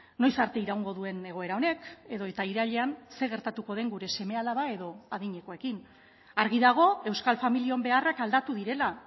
noiz arte iraungo duen egoera honek edota irailean zer gertatuko den gure seme alaba edo adinekoekin argi dago euskal familion beharrak aldatu direla